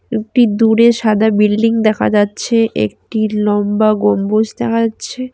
একটি দূরে সাদা বিল্ডিং দেখা যাচ্ছে। একটি লম্বা গম্বুজ দেখা যাচ্ছে।